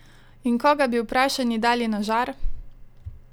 In koga bi vprašani dali na žar?